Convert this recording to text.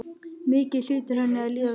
Mikið hlýtur henni að líða vel.